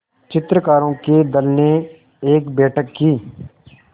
चित्रकारों के दल ने एक बैठक की